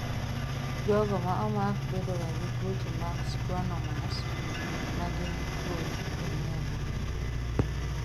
Jogo maomako bedoga gi tuoche mag schwannomas ,magin kuot e neva.